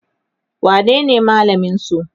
wanene malamin su?